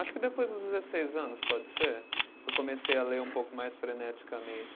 Acho que depois dos dezesseis anos, pode ser, que eu comecei a ler um pouco mais freneticamente.